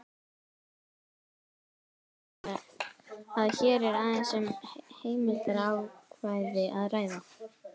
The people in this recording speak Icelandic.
Þess ber fyrst að geta að hér er aðeins um heimildarákvæði að ræða.